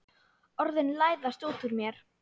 Orðin læðast út úr mér.